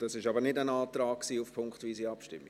Das war aber kein Antrag auf punktweise Abstimmung?